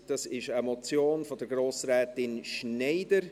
Es ist eine Motion von Grossrätin Schneider.